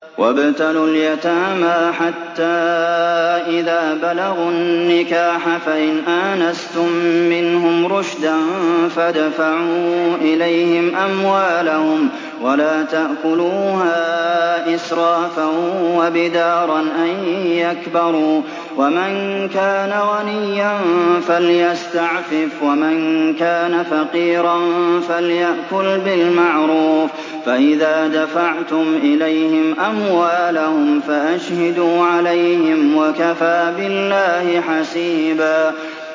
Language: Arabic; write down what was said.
وَابْتَلُوا الْيَتَامَىٰ حَتَّىٰ إِذَا بَلَغُوا النِّكَاحَ فَإِنْ آنَسْتُم مِّنْهُمْ رُشْدًا فَادْفَعُوا إِلَيْهِمْ أَمْوَالَهُمْ ۖ وَلَا تَأْكُلُوهَا إِسْرَافًا وَبِدَارًا أَن يَكْبَرُوا ۚ وَمَن كَانَ غَنِيًّا فَلْيَسْتَعْفِفْ ۖ وَمَن كَانَ فَقِيرًا فَلْيَأْكُلْ بِالْمَعْرُوفِ ۚ فَإِذَا دَفَعْتُمْ إِلَيْهِمْ أَمْوَالَهُمْ فَأَشْهِدُوا عَلَيْهِمْ ۚ وَكَفَىٰ بِاللَّهِ حَسِيبًا